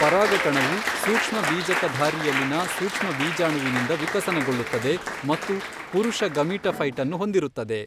ಪರಾಗಕಣವು ಸೂಕ್ಷ್ಮಬೀಜಕಧಾರಿಯಲ್ಲಿನ ಸೂಕ್ಷ್ಮ ಬೀಜಾಣುವಿನಿಂದ ವಿಕಸನಗೊಳ್ಳುತ್ತದೆ ಮತ್ತು ಪುರುಷ ಗಮೀಟಫ಼ೈಟ್ ನ್ನು ಹೊಂದಿರುತ್ತದೆ.